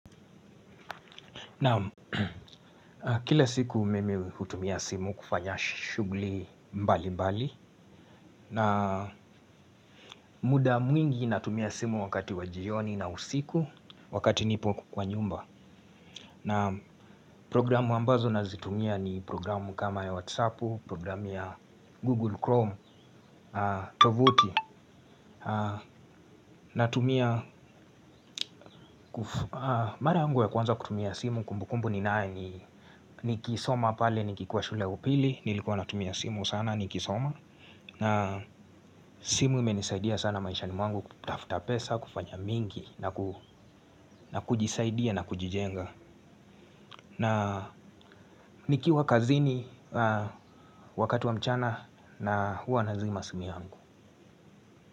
Naam kila siku mimi hutumia simu kufanya shugli mbali mbali. Na muda mwingi natumia simu wakati wa jioni na usiku wakati nipo kwa nyumba. Naam programu ambazo nazitumia ni programu kama ya Whatsappu, programu ya Google Chrome, Tovuti. Natumia, mara yangu ya kwanza kutumia simu kumbukumbu ninayo ni nikisoma pale ni kikuwa shule upili. Nilikuwa natumia simu sana ni kisoma. Na simu imenisaidia sana maisha ni mwangu kutafuta pesa, kufanya mingi. Na kujisaidia na kujijenga. Na nikiwa kazini wakati wa mchana na huwa nazima simu yangu.